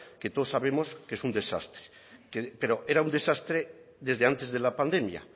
que todos sabemos que es un desastre pero era un desastre desde antes de la pandemia